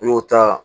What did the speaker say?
I y'o ta